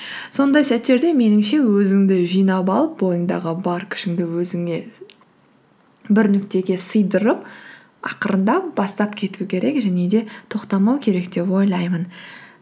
сондай сәттерде меніңше өзіңді жинап алып бойыңдағы бар күшіңді өзіңе бір нүктеге сыйдырып ақырындап бастап кету керек және де тоқтамау керек деп ойлаймын